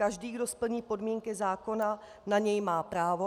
Každý, kdo splní podmínky zákona, na něj má právo.